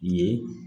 Ye